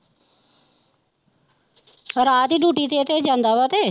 ਰਾਤ ਹੀ duty ਤੇ ਇਹ ਤੇ ਜਾਂਦਾ ਵਾ ਤੇ।